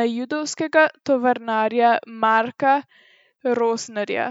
na judovskega tovarnarja Marka Rosnerja.